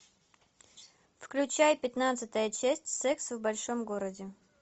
включай пятнадцатая часть секс в большом городе